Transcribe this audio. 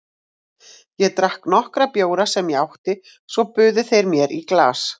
Ég drakk nokkra bjóra sem ég átti og svo buðu þeir mér í glas.